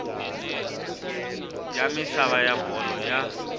ya misava ya bolo ya